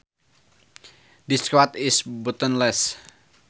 This coat is buttonless